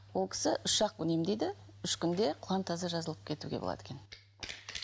ол кісі үш ақ күн емдейді үш күнде құлан таза жазылып кетуге болады екен